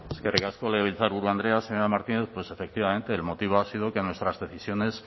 eskerrik asko legebiltzarburu andrea señora martínez pues efectivamente el motivo ha sido que nuestras decisiones